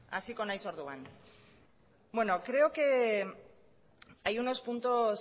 hasiko naiz orduan creo que hay unos puntos